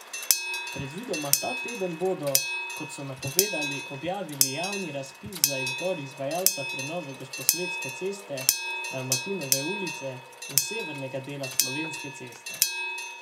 Predvidoma ta teden bodo, kot so napovedali, objavili javni razpis za izbor izvajalca prenove Gosposvetske ceste, Dalmatinove ulice in severnega dela Slovenske ceste.